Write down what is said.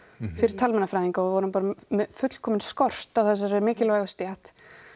fyrir talmeinafræðinga og við vorum bara með fullkominn skort á þessari mikilvægu stétt